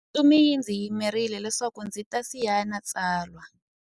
Ntsumi yi ndzi yimerile leswaku ndzi ta sayina tsalwa.